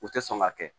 U tɛ sɔn ka kɛ